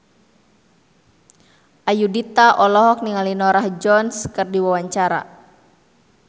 Ayudhita olohok ningali Norah Jones keur diwawancara